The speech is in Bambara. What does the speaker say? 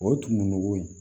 O tumuku ye